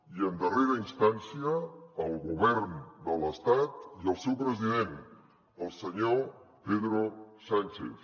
i en darrera instància el govern de l’estat i el seu president el senyor pedro sánchez